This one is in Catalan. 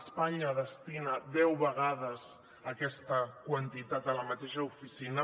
espanya destina deu vegades aquesta quantitat a la mateixa oficina